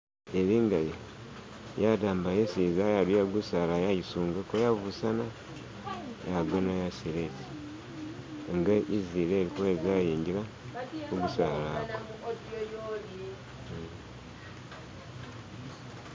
Ilengayo yaddamba yesiza yaduya gusala yaisungako yabusana yagona yasila nga izileikweka yaingila mugusala agwo.